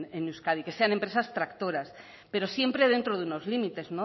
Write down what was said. en euskadi que sean empresas tractoras pero siempre dentro de unos límites